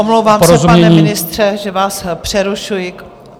Omlouvám se, pane ministře, že vás přerušuji.